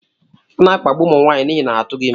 A na-akpagbu ụmụ nwaanyị n'ihi na ha tụghị ime.